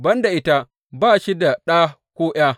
Ban da ita ba shi da ɗa ko ’ya.